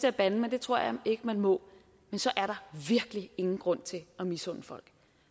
at bande men det tror jeg ikke man må virkelig ingen grund til at misunde folk